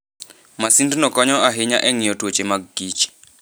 Masindno konyo ahinya e nyi'yo tuoche mag kich.